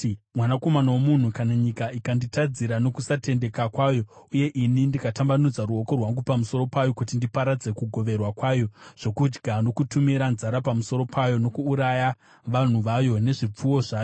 “Mwanakomana womunhu, kana nyika ikanditadzira nokusatendeka kwayo uye ini ndikatambanudza ruoko rwangu pamusoro payo kuti ndiparadze kugoverwa kwayo zvokudya nokutumira nzara pamusoro payo nokuuraya vanhu vayo nezvipfuwo zvayo,